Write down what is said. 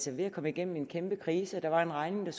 ved at komme igennem en kæmpe krise og der var en regning der